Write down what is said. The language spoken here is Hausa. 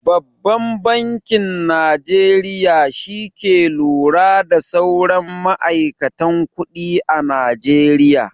Babban bankin Najeriya shi ke lura da sauran ma'aikatan kuɗi a najeriya.